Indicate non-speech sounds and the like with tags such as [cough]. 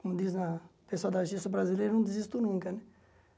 Como diz na o pessoal da [unintelligible] brasileira, não desisto nunca, né?